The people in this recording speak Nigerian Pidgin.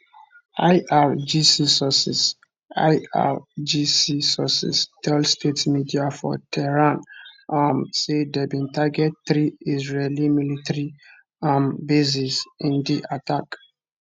irgc sources irgc sources tell state media for tehran um say dem bin target three israeli military um bases in di attack